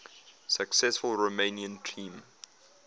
successful romanian team